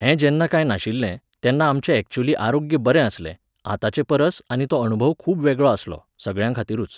हें जेन्ना कांय नाशिल्लें, तेन्ना आमचें ऍक्च्युअली आरोग्य बरें आसलें, आतांचेपरस आनी तो अणभव खूब वेगळो आसलो, सगळ्यां खातीरूच.